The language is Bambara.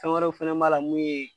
Fɛn wɛrɛw fɛnɛ b'a la mun ye